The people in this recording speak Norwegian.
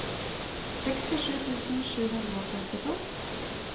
sekstisju tusen sju hundre og femtito